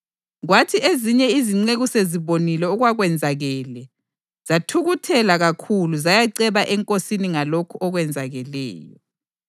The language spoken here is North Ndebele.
Kwathi ezinye izinceku sezibonile okwakwenzakele, zathukuthela kakhulu zayaceba enkosini ngalokho okwenzakeleyo.